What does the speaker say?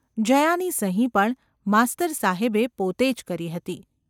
જયાની સહી પણ માસ્તર સાહેબે પોતે જ કરી હતી.